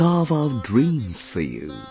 Will carve out dreams for you